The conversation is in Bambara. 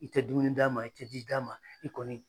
I tɛ dumuni d'a ma i tɛ ji d'a ma i kɔni